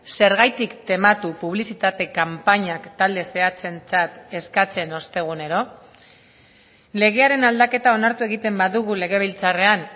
zergatik tematu publizitate kanpainak talde zehatzentzat eskatzen ostegunero legearen aldaketa onartu egiten badugu legebiltzarrean